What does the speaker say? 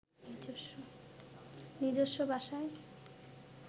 নিজস্ব ভাষায়